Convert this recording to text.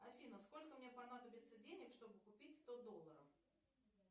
афина сколько мне понадобится денег чтобы купить сто долларов